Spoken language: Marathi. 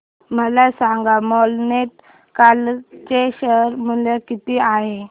मला सांगा मॉन्टे कार्लो चे शेअर मूल्य किती आहे